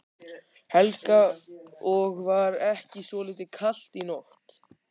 Helga: Og var ekki svolítið kalt í nótt?